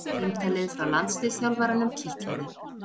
Símtalið frá landsliðsþjálfaranum kitlaði